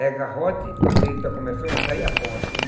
É garrote, quando ele está começando a sair a ponta. Quando